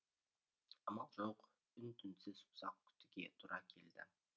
амал жоқ үн түнсіз ұзақ күтуге тура келді